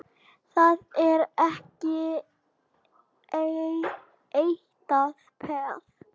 Það er ekki eitrað peð?